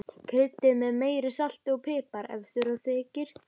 Kryddið með meira salti og pipar ef þurfa þykir.